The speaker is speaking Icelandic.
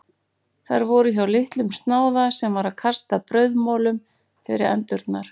Þær voru hjá litlum snáða sem var að kasta brauðmolum fyrir endurnar.